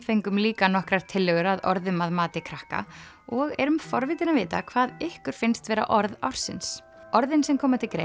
fengum líka nokkrar tillögur að orðum að mati krakka og erum forvitin að vita hvað ykkur finnst vera orð ársins þau orð sem koma til greina